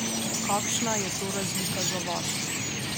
Kakšna je to razlika za vas?